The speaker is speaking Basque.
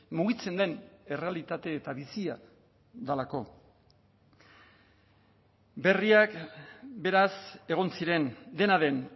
mugitzen den errealitate eta bizia delako berriak beraz egon ziren dena den